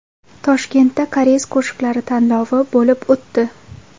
Toshkentda Koreys qo‘shiqlari tanlovi bo‘lib o‘tdi.